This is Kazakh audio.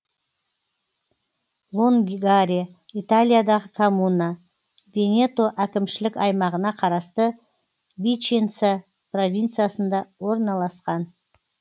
лонгаре италиядағы коммуна венето әкімшілік аймағына қарасты виченца провинциясында орналасқан